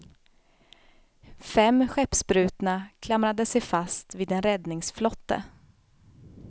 Fem skeppsbrutna klamrade sig fast vid en räddningsflotte.